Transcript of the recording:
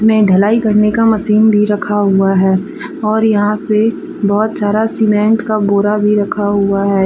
में ढलाई करने का मशीन भी रखा हुआ है और यहां पे बहुत सारा सीमेंट का बोरा भी रखा हुआ है।